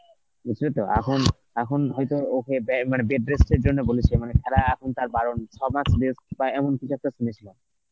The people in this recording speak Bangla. বুঝলি তো, এখন, এখন হয়তো ওকে দেয় মানে bed rest এর জন্য বলেছে মানে খেলা এখন তার বারণ, ছমাস rest বা এমন কিছু একটা শুনেছিলাম.